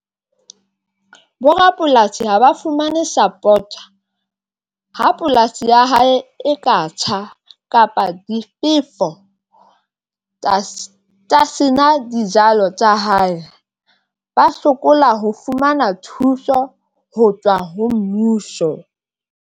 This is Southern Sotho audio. Borapolasi haba fumane support a ha polasi ya hae e ka tjha kapa difefo tsena dijalo tsa hae ba sokola ho fumana thuso ho tswa ho mmuso.